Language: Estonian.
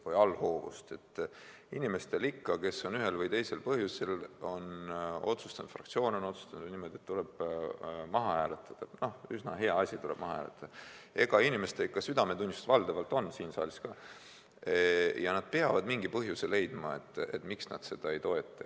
Kui fraktsioon on ühel või teisel põhjusel otsustanud niimoodi, et üsna hea asi tuleb maha hääletada, siis inimestel on siin saalis ikka südametunnistus valdavalt olemas ja nad peavad mingi põhjuse leidma, miks nad seda ei toeta.